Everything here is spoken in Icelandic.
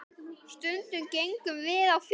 Stundum gengum við á fjöll.